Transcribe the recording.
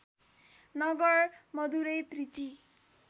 Nagar Madurai Trichy